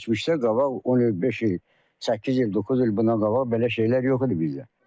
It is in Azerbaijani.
Biz keçmişdə qabaq 10 il, beş il, səkkiz il, doqquz il bundan qabaq belə şeylər yox idi bizdə.